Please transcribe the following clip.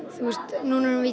núna erum við í